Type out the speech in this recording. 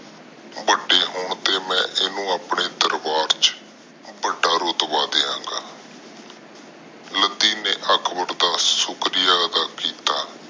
ਵੱਡੇ ਹੋਣ ਤੇ ਮੈ ਇਹਨੂੰ ਆਪਣੇ ਦਰਬਾਰ ਚ ਵੱਡਾ ਰੁਤਬਾ ਦੇਵਾਂਗਾ। ਲੱਦੀ ਨੇ ਅਕਬਰ ਦਾ ਸ਼ੁਕ੍ਰਿਆ ਅਦਾ ਕੀਤਾ